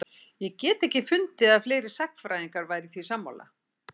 Ég hef ekki getað fundið að fleiri sagnfræðingar væru því sammála?